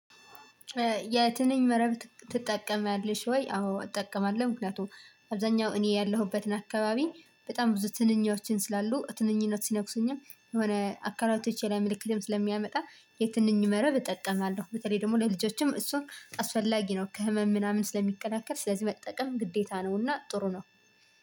የትንኝ መረብ ትጠቀሚያለሽ ወይ? አዎ እጠቀማለሁ ምክንያቱም አብዛኛው እኔ ያለሁበትን አካባቢ በጣም ብዙ ትንኞችን ስላሉ ትንኞች ሲነኩሱኝም የሆነ አካላቶቼ ላይ ምልክትም ስለሚያመጣ የትንኝመረብ እጠቀማለሁ። በተለይ ደግሞ ለልጆችም እሱን አስፈላጊ ነው። ከህመም ምናምን ስለሚከላከል ስለዚህ መጠቀም ግዴታ ነውና ጥሩ ነው።